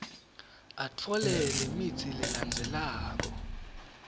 atfole lemitsi lelandzelako